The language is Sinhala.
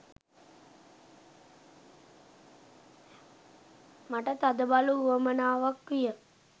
මට තදබල උවමනාවක් විය.